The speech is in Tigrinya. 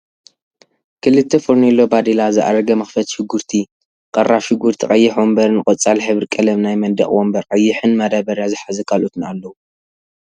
ክልተ ፈርኒሎ ባዴላ ፣ዝኣረገ መክተፊ ሽጉርቲ ፣ቅራፍ ሽጉርቲ ቀይሕ ወንበርን ቆፃል ሕብሪ ቀለም ናይ መንድቅ ወንበር ቀይሕ ን ማዳበርያ ዝሓዘ ካልኦትን ኣለዉ።